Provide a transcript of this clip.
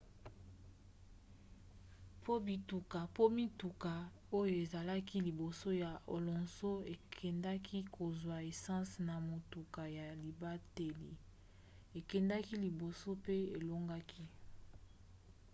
po mituka oyo ezalaki liboso ya alonso ekendaki kozwa essence na motuka ya libateli akendaki liboso pe alongaki